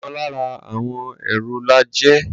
Ọ̀kan lára àwọn èrò la jẹ́.